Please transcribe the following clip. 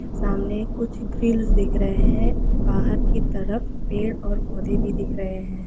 सामने कुछ ग्रिल्स दिख रहे है बाहर की तरफ पेड़ और पौधे भी दिख रहे है।